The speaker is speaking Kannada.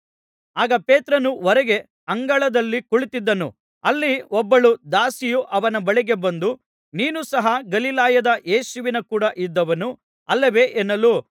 ಆಗ ಪೇತ್ರನು ಹೊರಗೆ ಅಂಗಳದಲ್ಲಿ ಕುಳಿತಿದ್ದನು ಅಲ್ಲಿ ಒಬ್ಬಳು ದಾಸಿಯು ಅವನ ಬಳಿಗೆ ಬಂದು ನೀನೂ ಸಹ ಗಲಿಲಾಯದ ಯೇಸುವಿನ ಕೂಡ ಇದ್ದವನು ಅಲ್ಲವೇ ಎನ್ನಲು